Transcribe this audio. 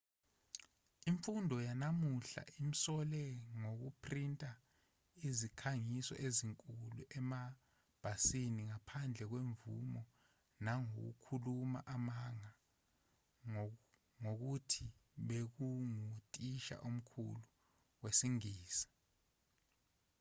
imfundo yanamuhla imsole ngokuphrinta izikhangiso ezinkulu emabhasini ngaphandle kwemvume nangokukhuluma amanga ngokuthi bekunguthisha omkhulu wesingisi